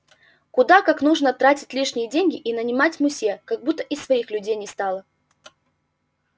куда как нужно тратить лишние деньги и нанимать мусье как будто и своих людей не стало